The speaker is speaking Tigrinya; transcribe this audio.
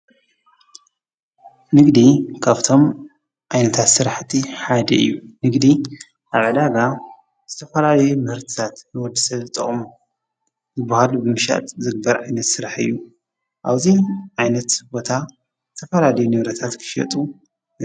ንግዲ ካብቶም ዓይነታት ስራሕቲ ሓደ እዩ::ንግዲ ኣብ ዕዳጋ ብዝተፋላለዩ ምህርትታ ንወደሰብ ዝጠቅሙ ዝብሃሉ ብምሻጥ ዝግበረ ዓይነተ ስራሓ እዩ:: ኣብዚ ዓይነት ቦታ ዝተፋላለዩ ንበረታት ክሽየጡ::